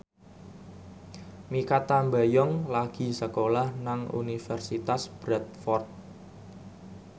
Mikha Tambayong lagi sekolah nang Universitas Bradford